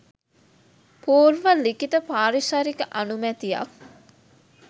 පූර්ව ලිඛිත පාරිසරික අනුමැතියක්